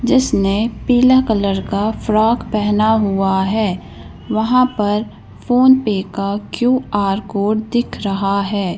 जिसने पीला कलर का फ्रॉक पहना हुआ है वहां पर फोन पे का क्यू_आर कोड दिख रहा है।